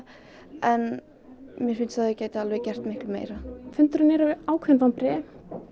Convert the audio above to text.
en mér finnst að þau gætu alveg gert miklu meira fundurinn er ákveðin vonbrigði